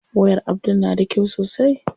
Wayar Abdul na da kyau sosai.